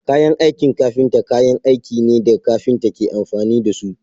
Kayan aikin kafinta kayan aikin ne da kafinta ke amfani da su.